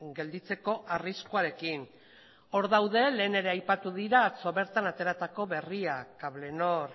gelditzeko arriskuarekin hor daude lehen ere aipatu dira atzo bertan ateratako berria cablenor